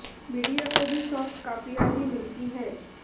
media को भी soft कापियां ही मिलती हैं